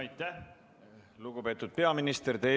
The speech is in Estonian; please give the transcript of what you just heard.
Aitäh, lugupeetud peaminister!